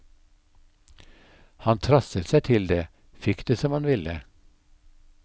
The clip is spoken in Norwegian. Han trasset seg til det, fikk det som han ville.